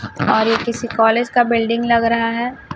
और ये किसी कॉलेज का बिल्डिंग लग रहा है।